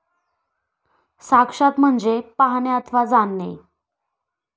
साक्षात म्हणजे पाहणे अथवा जाणणे.